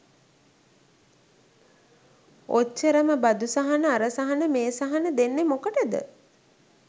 ඔච්චරම බදු සහන අර සහන මේ සහන දෙන්නේ මොකටද